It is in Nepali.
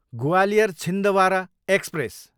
ग्वालियर, छिन्द्वारा एक्सप्रेस